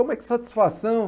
Como é que satisfação?